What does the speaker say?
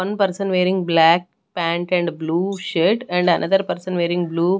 One person wearing black pant and blue shirt and another person wearing blue --